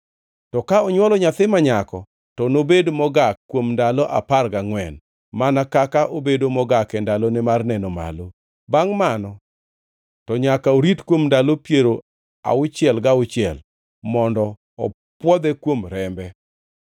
To ka onywolo nyathi ma nyako, to nobed mogak kuom ndalo apar gangʼwen, mana kaka obedo mogak e ndalone mar neno malo. Bangʼ mano to nyaka orit kuom ndalo piero auchiel gauchiel mondo opwodhe kuom rembe.